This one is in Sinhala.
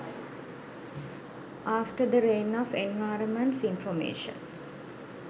after the rain of environments informations